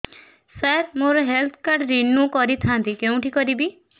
ସାର ମୋର health card renew କରିଥାନ୍ତି କେଉଁଠି କରିବି